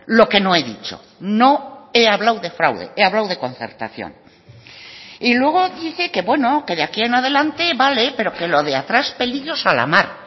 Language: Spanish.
lo que no he dicho no he hablado de fraude he hablado de concertación y luego dice que bueno que de aquí en adelante vale pero que lo de atrás pelillos a la mar